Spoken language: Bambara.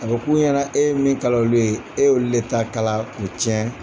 A bɛ k'u ɲɛna e ye min kala olu ye e ye olu ta kala k'o tiyɛn.